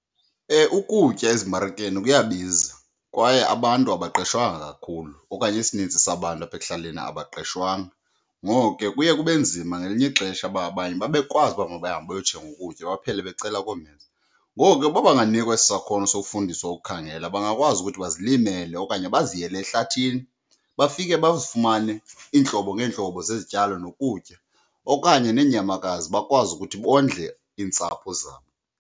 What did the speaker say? Ukutya ezimarikeni kuyabiza kwaye abantu abaqeshwanga kakhulu okanye isininzi sabantu apha ekuhlaleni abaqeshwanga, ngoko ke kuye kube nzima ngelinye ixesha uba abanye babekwazi uba mabahambe bayothenga ukutya baphele becela koomheza. Ngoku ke uba banganikwa esi sakhono sokufundiswa ukukhangela bangakwazi ukuthi bazilimele okanye baziyele ehlathini bafike bazifumane iintlobo ngeentlobo zezityalo nokutya okanye neenyamakazi bakwazi ukuthi bondle iintsapho zabo.